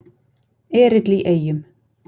Erill í Eyjum